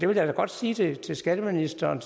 vil da godt sige til skatteministeren